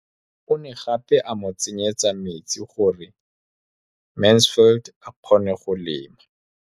O ne gape a mo tsenyetsa metsi gore Mansfield a kgone go lema.